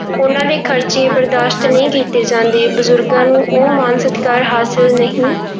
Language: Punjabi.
ਉਹਨਾਂ ਦੇ ਖ਼ਰਚੇ ਬਰਦਾਸ਼ਤ ਨਹੀਂ ਕੀਤੇ ਜਾਂਦੇ, ਬਜ਼ੁਰਗਾਂ ਨੂੰ ਉਹ ਮਾਣ ਸਤਿਕਾਰ ਹਾਸਿਲ ਨਹੀਂ